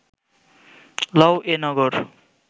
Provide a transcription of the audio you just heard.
লও এ নগর